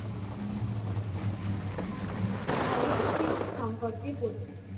ভগৎ সিং সম্পর্কে বলুন